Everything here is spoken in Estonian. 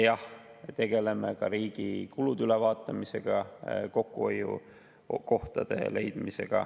Jah, tegeleme ka riigi kulude ülevaatamisega ja kokkuhoiukohtade leidmisega.